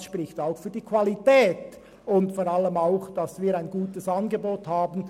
Es spricht auch für die Qualität unseres Angebots.